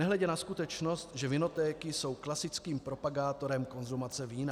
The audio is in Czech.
Nehledě na skutečnost, že vinotéky jsou klasickým propagátorem konzumace vína.